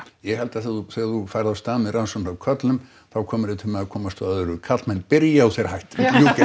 ég held að þegar þú þegar þú ferð af stað með rannsókn á körlum þá komirðu til með að komast að öðru karlmenn byrja og þeir hætta